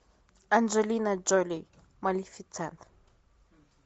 анджелина джоли малефисента